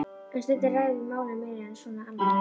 En stundum ræðum við málin meira svona almennt.